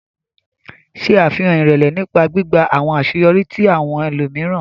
Ṣe afihan irẹlẹ nipa gbigba awọn aṣeyọri ti awọn ẹlomiran.